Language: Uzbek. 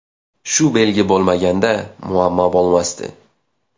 Shu belgi bo‘lmaganda, muammo bo‘lmasdi.